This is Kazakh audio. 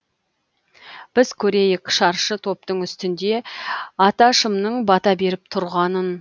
біз көрейік шаршы топтың үстінде аташымның бата беріп тұрғанын